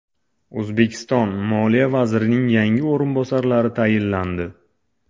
O‘zbekiston moliya vazirining yangi o‘rinbosarlari tayinlandi.